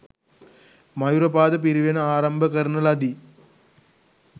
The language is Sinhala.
මයුරපාද පිරිවෙන ආරම්භ කරන ලදී.